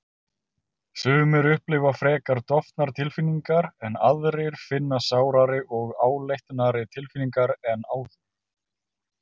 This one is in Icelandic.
Sumir upplifa frekar dofnar tilfinningar en aðrir finna sárari og áleitnari tilfinningar en áður.